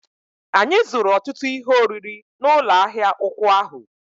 Anyị zụrụ ọtụtụ ihe oriri n'ụlọ ahịa ụkwụ ahụ